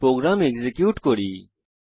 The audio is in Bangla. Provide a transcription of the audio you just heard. প্রোগ্রাম এক্সিকিউট করি